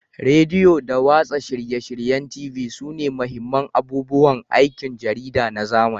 Rediyo da watsa shirye-shiryen TV sune mahimman abubuwan aikin jarida na zamani